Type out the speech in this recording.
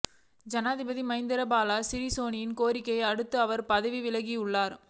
ஜனாதிபதி மைத்திரிபால சிறிசேனவின் கோரிக்கையை அடுத்து அவர் பதவி விலகியுள்ளார்